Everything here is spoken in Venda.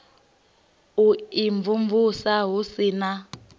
u imvumvusa hu si na